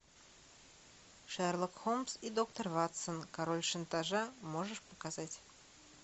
шерлок холмс и доктор ватсон король шантажа можешь показать